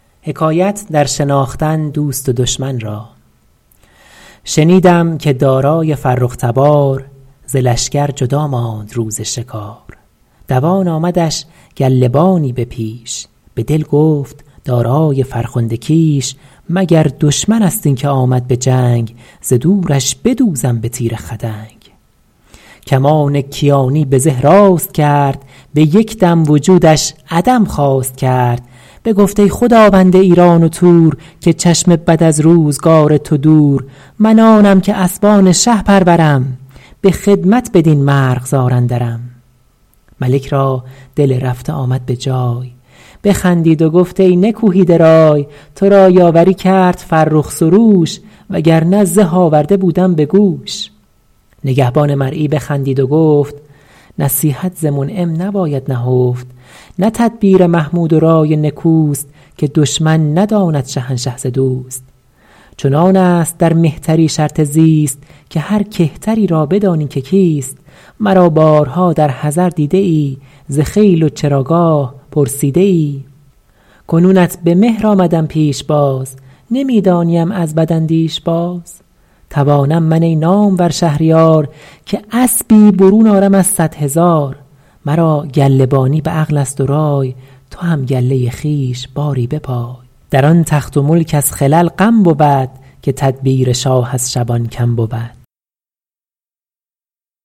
شنیدم که دارای فرخ تبار ز لشکر جدا ماند روز شکار دوان آمدش گله بانی به پیش به دل گفت دارای فرخنده کیش مگر دشمن است این که آمد به جنگ ز دورش بدوزم به تیر خدنگ کمان کیانی به زه راست کرد به یک دم وجودش عدم خواست کرد بگفت ای خداوند ایران و تور که چشم بد از روزگار تو دور من آنم که اسبان شه پرورم به خدمت بدین مرغزار اندرم ملک را دل رفته آمد به جای بخندید و گفت ای نکوهیده رای تو را یاوری کرد فرخ سروش وگر نه زه آورده بودم به گوش نگهبان مرعی بخندید و گفت نصیحت ز منعم نباید نهفت نه تدبیر محمود و رای نکوست که دشمن نداند شهنشه ز دوست چنان است در مهتری شرط زیست که هر کهتری را بدانی که کیست مرا بارها در حضر دیده ای ز خیل و چراگاه پرسیده ای کنونت به مهر آمدم پیشباز نمی دانیم از بداندیش باز توانم من ای نامور شهریار که اسبی برون آرم از صد هزار مرا گله بانی به عقل است و رای تو هم گله خویش باری بپای در آن تخت و ملک از خلل غم بود که تدبیر شاه از شبان کم بود